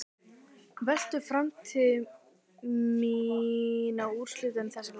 Veltur framtíð mín á úrslitum þessa leiks?